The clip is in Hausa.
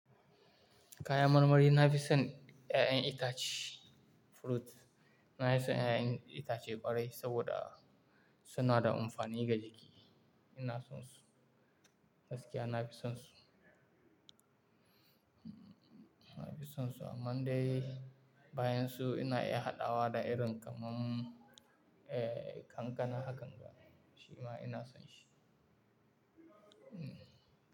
Kayan marmari na fi son ƴaƴan itace, fruit. Na fi son ƴaƴan itace ƙwarai saboda suna da amfani ga jiki. Ina son su, gaskiya na fi son su. Na fi son su amma dai bayan su ina iya haɗawa da irin kamar, eh, kankana hakan ga shima ina son shi. Hmm.